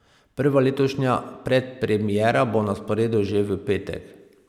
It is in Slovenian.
Prva letošnja predpremiera bo na sporedu že v petek.